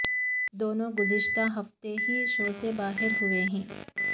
دونوں گزشتہ ہفتے ہی شو سے باہر ہوئے ہیں